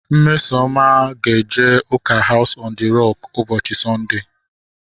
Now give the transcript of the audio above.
Mmesoma he-eje ụka Haus nọ na Rọk ụbọchị Sọndea